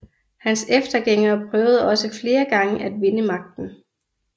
Hans eftergængere prøvede også flere gange at vinde magten